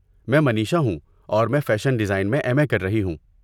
میں منیشا ہوں اور میں فیشن ڈیزائن میں ایم اے کر رہی ہوں۔